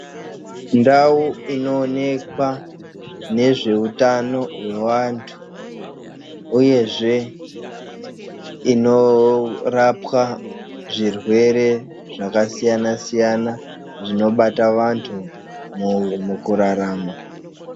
Ndau inoonekwa nezveutano hwevantu uyezve inorapwa zvirwere zvakasiyana siyana zvinobata vantu mukurarama.